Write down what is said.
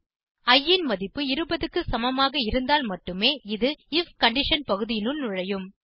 இ ன் மதிப்பு 20 க்கு சமமாக இருந்தால் மட்டும் இது ஐஎஃப் கண்டிஷன் பகுதியினுள் நுழையும்